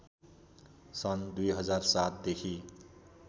सन् २००७ देखि